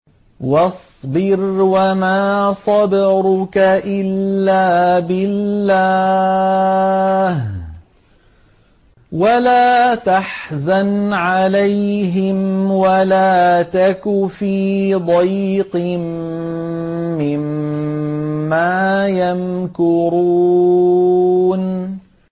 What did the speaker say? وَاصْبِرْ وَمَا صَبْرُكَ إِلَّا بِاللَّهِ ۚ وَلَا تَحْزَنْ عَلَيْهِمْ وَلَا تَكُ فِي ضَيْقٍ مِّمَّا يَمْكُرُونَ